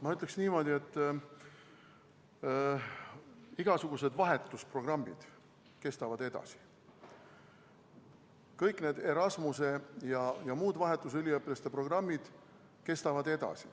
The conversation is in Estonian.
Ma ütleksin niimoodi, et igasugused vahetusprogrammid kestavad edasi, kõik Erasmuse ja muud vahetusüliõpilaste programmid kestavad edasi.